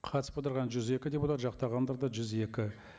қатысып отырған жүз екі депутат жақтағандар да жүз екі